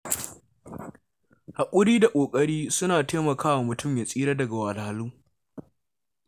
Haƙuri da ƙoƙari suna taimakawa mutum ya tsira daga wahalhalu.